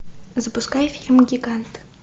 запускай фильм гигант